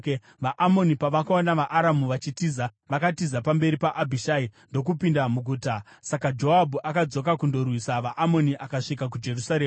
VaAmoni pavakaona vaAramu vachitiza, vakatiza pamberi paAbhishai, ndokupinda muguta. Saka Joabhu akadzoka kundorwisa vaAmoni akasvika kuJerusarema.